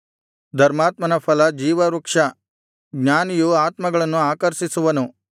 ಧರ್ಮಾತ್ಮನ ಫಲ ಜೀವವೃಕ್ಷ ಜ್ಞಾನಿಯು ಆತ್ಮಗಳನ್ನು ಆಕರ್ಷಿಸುವನು